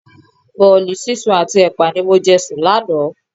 Bọ̀ọ̀li sísun àti ẹpa ni mo jẹ sùn lánàá.